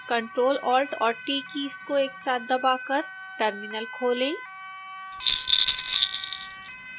ctrl alt और t keys को एक साथ दबाकर टर्मिनल खोलें